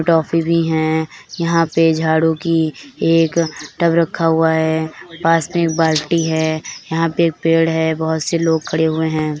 Toffee भी हैं यहा पे झाड़ू की एक टब भी रखा हुआ है पास मे एक बालटी है यहा पे एक पेड़ है बहोत से लोग खड़े हुवे है ।